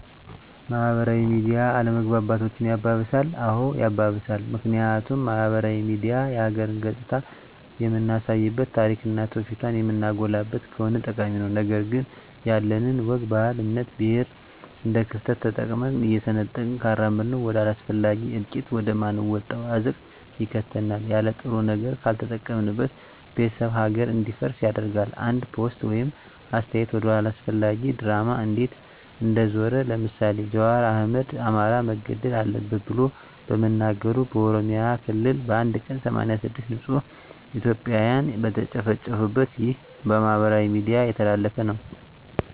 ማህበራዊ ሚዲያ አለመግባባቶችን ያባብሳል? አዎ ያባብሳል ምክንያቱም ማህበራዊ ሚዲያ የሀገርን ገፅታ የምናሳይበት ታሪክና ትውፊቷን የምናጎላበት ከሆነ ጠቃሚ ነው ነገር ግን ያለንን ወግ ባህል እምነት ብሔር እንደክፍተት ተጠቅመን እየሰነጠቅን ካራመድነው ወደ አላስፈላጊ እልቂት ወደ ማንወጣው አዘቅት ይከተናል የለጥሩ ነገር ካልተጠቀምንበት ቤተሰብ ሀገር እንዲፈርስ ያደርጋል አንድ ፖስት ወይም አስተያየት ወደ አላስፈላጊ ድራማ እንዴት እንደዞረ ለምሳሌ ጃዋር አህመድ አማራ መገደል አለበት ብሎ በመናገሩ በኦሮሚያ ክልል በአንድ ቀን 86 ንፁህ እትዮጵያን የተጨፈጨፉበት ይህ በማህበራዊ ሚዲያ የተላለፈ ነው